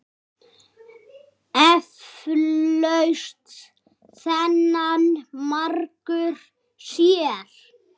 Eflaust þennan margur sér.